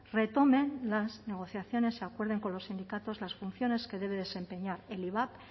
retomen las negociaciones se acuerden con los sindicatos las funciones que debe desempeñar el ivap